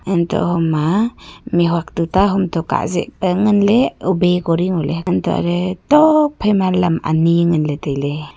hantoh hom ma mih huat tuta hom toh kah zeh ley pe ngan ley ubi kori ngo ley hantoh lah ley tuak phai ma lam ani ngan ley tai ley.